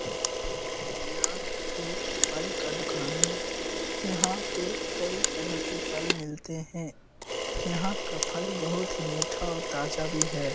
यह एक फल का दुकान है यहाँ पे कई तरह के फल मिलते हैं यहाँ का फल बहुत ही मीठा और ताज़ा भी है।